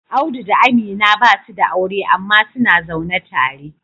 Audu da Amina basu da aure amma suna zaune tare